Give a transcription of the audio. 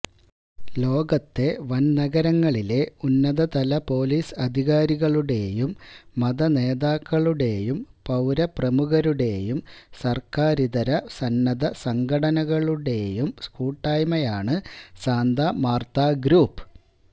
ലോകത്തെ വൻനഗരങ്ങളിലെ ഉന്നതതല പൊലീസ് അധികാരികളുടെയും മതനേതാക്കളുടെയും പൌരപ്രമുഖരുടെയും സർക്കാരിതര സന്നദ്ധ സംഘടകളുടെയും കൂട്ടായ്മയാണ് സാന്താ മാർത്താ ഗ്രൂപ്പ്